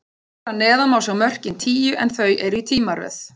Hér að neðan má sjá mörkin tíu, en þau eru í tímaröð.